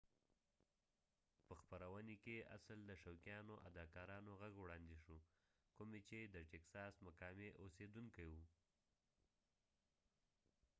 په خپروني کي اصل د شوقيانو اداکارانو غږ وړاندي شو کومي چي د ټيکساس مقامي اوسيدونکي وي